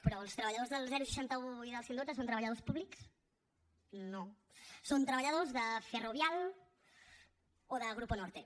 però els treballadors del seixanta un i del cent i dotze són treballadors públics no són treballadors de ferrovial o de grupo norte